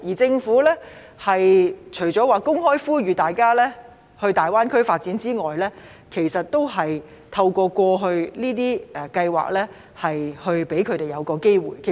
政府方面除公開呼籲大家前往大灣區發展外，過去就只透過這些計劃為他們提供機會。